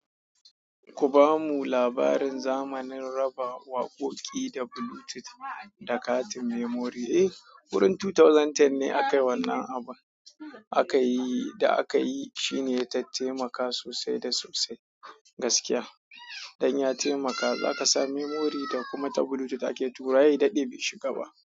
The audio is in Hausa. Ku bamu labarin zamanin raba waƙoƙi da Bluetooth da katin memory. Eh, wurin 2010 ne aka yi wannan abun. Aka yi da aka yi shine ta taimaka sosai da sosai gaskiya. Dan ya taimaka zaka sa memory da kuma ta Bluetooth ake tura, se ya daɗe bai shiga ba.